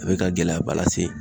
A bi ka gɛlɛyaba lase